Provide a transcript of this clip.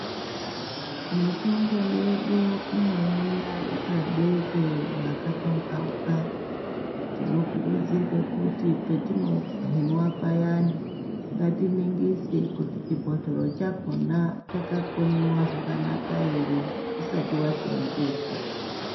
Mitombo yedu inouya yakabekwe makapamhauka. Tinokurudzirwe kuti petinouhinwa payani, ngatiningise kuti chibhotoro chakhona chakakonyiwa zvakanaka ere, usati waseenzesa.